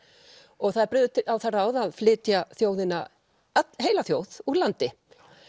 og það er brugðið á það ráð að flytja þjóðina heila þjóð úr landi